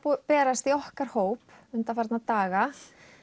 berast í okkar hóp undanfarna daga